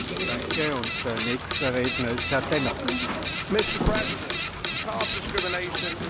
Mr President, caste discrimination is clearly unacceptable.